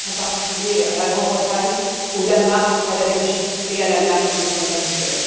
Je pense, en particulier, à la Grande Bretagne, au Danemark et à la Belgique, ainsi qu'à l'Allemagne, sur le plan humanitaire.